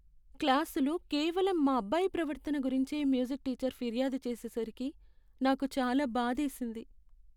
క్లాసులో కేవలం మా అబ్బాయి ప్రవర్తన గురించే మ్యూజిక్ టీచర్ ఫిర్యాదు చేసేసరికి నాకు చాలా బాధేసింది.